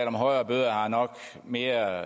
om højere bøder er nok mere